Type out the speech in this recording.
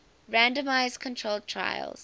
randomized controlled trials